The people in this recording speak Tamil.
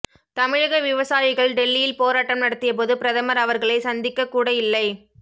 தமிழக விவசாயிகள் டெல்லியில் போராட்டம் நடத்திய போது பிரதமர் அவர்களை சந்திக்ககூட இல்லை